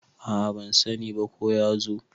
a a ban sani ba ko ya zo